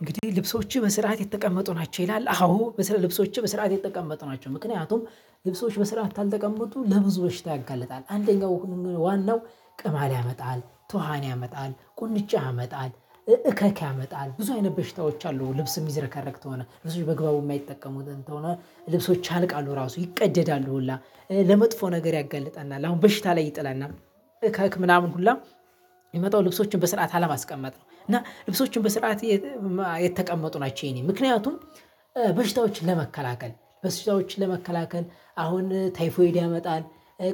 እንግዲህ ልብሶችህ በስርዓት የተቀመጡ ናቸው ይላል አዎ ልብሶቸ በስርዓት የተቀመጡ ናቸው። ምክንያቱም ልብሶች በስርዓት ካልተቀመጡ ለብዙ በሽታ ያጋልጣል። አንደኛው ዋናው ቅማል ያመጣል ቶሃን ያመጣል ቁንጫ ያመጣል እከክ ያመጣል ብዙ አይነት በሽታዎች አሉ። ልብስ የሚዘረከረክ ከሆነ ልብሶች በግባቡ የማይጠቀሙት ከሆነ ልብሶች ያልቃኡ ራሱ ይቀደዳሉ ሁላ። ለመጥፎ ነገር ያገልጠናል አሁን በሽታ ላይ ይጥላና እከክ ምናምን ሁላ። የሚመጣው ልብሶችን በስርዓት አለማስቀመጥ ነው። እና ልብሶችን በስርዓት የተቀመጡ ናቸው። የኔ ምክንያቱም በሽታዎችን ለመከላከል በሽታዎችን ለመከላከል አሁን ተይፎድ ያመጣል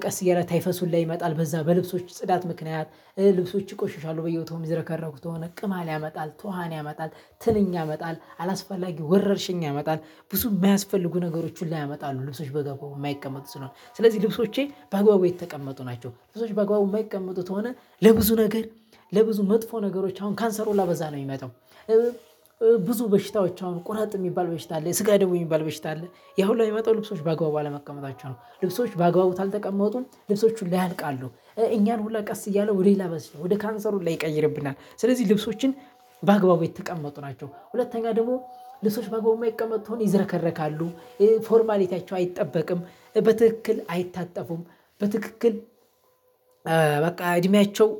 ቀስ እያለ ታይፈስ ይመጣል። በዛ በልብሶች ጽዳት ምክንያት ልብሶች ይቆሽሻሉ በየቦታው የሚዘረከረኩት ከሆነ ቅማል ያመጣል ቶሃን ያመጣል ትንኝ ያመጣል አላስፈላጊ ወረርሽኝ ያመጣል ብዙ የማያስፈልጉ ነገሮች ሁሉ ያመጣሉ። ልብሶች ባግባቡ የማይቀመጡ ከለሆነ ስለዚህ ልብሶቸ ባግባቡ የተቀመጡ ናቸው። ልብሶች ባግባቡ የማይቀመጡ ከሆነ ለብዙ መጥፎ ነገር አሁን ካንሰር ሁላ በዛ ነው የሚመጣው። ብዙ በሽታወች አሁን ቁረጥ የሚባል አለ የስጋ ደዌ የሚባል በሽታ አለ። ያ ሁላ የሚመጣው ልብሶች ባግባቡ አለመቀመጣቸው ነው። ልብሶች ባግባቡ ካልተቀመጡ ልብሶች ሁሉ ያልቃሉ እኛን ሁላ ቀስ እያለው ሌላ በዚህ ወደ ካንሰር ሁላ ይቀይርብናል። ስለዚህ ልብሶችን በአግባቡ የተቀመጡ ናቸው። ሁለተኛ ደግሞ ልብሶች ባግባቡ የማይቀመጡ ከሆነ ይዝረከረካሉ ፎርማሊቲያቸው አይጠበቅም በትክክል አይታጠፉም። በትክክል በቃ እድሜያቸው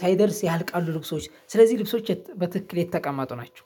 ሳይደርስ ያልቃሉ። ልብሶች ስለዚህ ልብሶች በትክክል የተቀመጡ ናቸው።